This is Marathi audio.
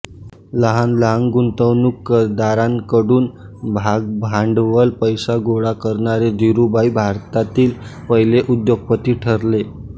लहान लहान गुंतवणूकदारांकडून भागभांडवल पैसा गोळा करणारे धीरूभाई भारतातील पहिले उद्योगपती ठरले